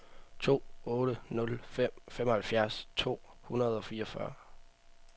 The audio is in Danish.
to otte nul fem femoghalvfjerds to hundrede og fireogfyrre